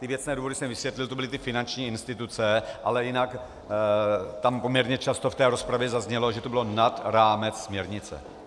Ty věcné důvody jsem vysvětlil, to byly ty finanční instituce, ale jinak tam poměrně často v té rozpravě zaznělo, že to bylo nad rámec směrnice.